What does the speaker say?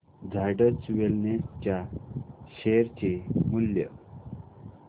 Zydus wellness च्या share चे मूल्य